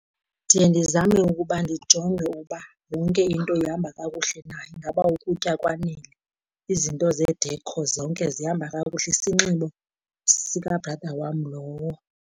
Ndiye ndizame ukuba ndijonge uba yonke into ihamba kakuhle na, ingaba ukutya kwanele, izinto zedekho zonke zihamba kakuhle, isinxibo sika-brother wam lowo.